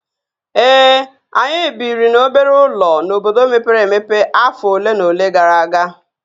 Ee, anyị biri n'obere ụlọ n'obodo mepere emepe afọ ole na ole gara aga